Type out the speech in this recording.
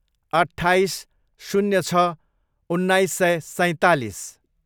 अट्ठाइस, शून्य छ, उन्नाइस सय सैँतालिस